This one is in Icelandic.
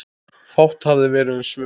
Fátt hefði verið um svör.